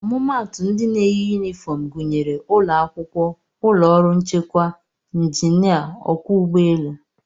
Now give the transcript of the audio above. Ọmụmaatụ ndị na-eyi yunifọm gụnyere ụlọakwụkwọ, ụlọọrụ nchekwa, njinịa, ọkwọ ụgbọelu